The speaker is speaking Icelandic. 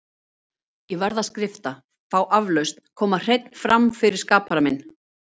Ég verð að skrifta, fá aflausn, koma hreinn fram fyrir skapara minn.